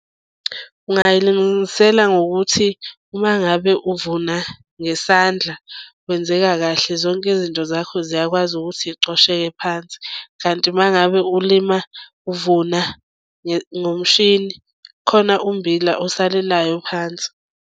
Ungayilungisela ngokuthi uma ngabe uvuna ngesandla kwenzeka kahle zonke izinto zakho ziyakwazi ukuthi yicosheke phansi. Kanti uma ngabe ulima uvuna ngomshini khona ummbila osalelayo phansi.